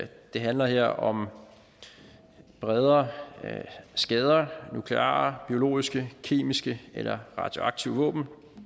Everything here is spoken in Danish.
det handler her om bredere skader af nukleare biologiske kemiske eller radioaktive våben